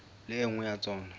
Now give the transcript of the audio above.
le e nngwe ya tsona